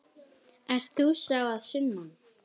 Ert þú sá að sunnan?